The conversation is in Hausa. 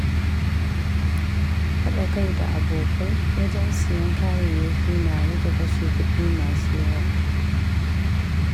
Haɗa kai da abokai wajen siyan kayayyaki na rage kashe kuɗi masu yawa.